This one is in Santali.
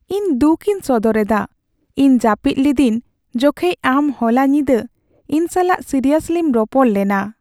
ᱤᱧ ᱫᱩᱠᱤᱧ ᱥᱚᱫᱚ ᱨᱮᱫᱟ ᱤᱧ ᱡᱟᱹᱯᱤᱫ ᱞᱤᱫᱟᱹᱧ ᱡᱚᱠᱷᱮᱡ ᱟᱢ ᱦᱚᱞᱟ ᱧᱤᱫᱟᱹ ᱤᱧ ᱥᱟᱞᱟᱜ ᱥᱤᱨᱤᱭᱟᱥᱞᱤᱢ ᱨᱚᱯᱚᱲ ᱞᱮᱱᱟ ᱾